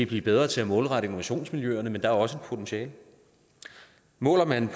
blive bedre til at målrette innovationsmiljøerne men der er også et potentiale måler man